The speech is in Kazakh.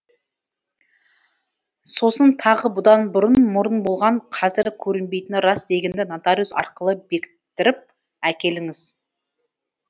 сосын тағы бұдан бұрын мұрын болған қазір көрінбейтіні рас дегенді нотариус арқылы бекіттіріп әкеліңіз